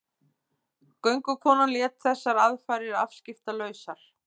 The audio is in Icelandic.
Göngukonan lét þessar aðfarir afskiptalausar.